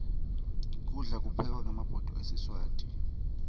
kudla kuphekwa ngemabhodo esiswati